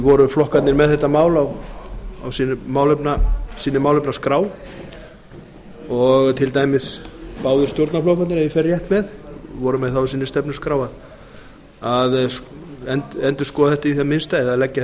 voru flokkarnir með þetta mál á sinni málefnaskrá og til dæmis náðu stjórnarflokkarnir ef ég fer rétt með voru með það á sinni stefnuskrá að endurskoða þetta í það minnsta eða leggja